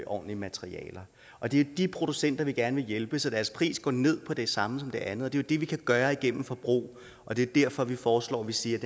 ordentlige materialer og det er de producenter vi gerne vil hjælpe så deres pris når ned på det samme som det andet det er jo det vi kan gøre igennem forbrug og det er derfor at vi foreslår at vi siger